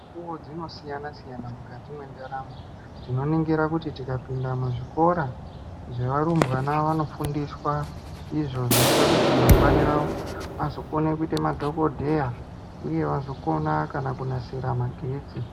Fundo dzinosiyanasiyana mukati mwendaramo tinoningira kuti tikapinda mumazvikora zvavarumbwana vanofundiswa izvo zvinoita kuti iro ramangwana rawo vazokona kuita madhokodheya uye vazokona kana kunasira magetsi .